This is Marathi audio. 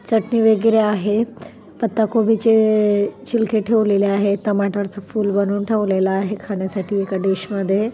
चटणी वगैरे आहे पत्ता कोबीचे छिलके ठेवलेले आहेत टमाटरच फूल बनून ठेवलेला आहे खाण्यासाठी एका डिश मध्ये.